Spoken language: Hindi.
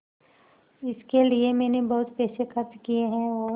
इसके लिए मैंने बहुत पैसे खर्च किए हैं और